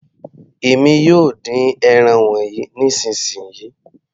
Èmi yóò dín ẹran wọnyí nísìnsisìyí.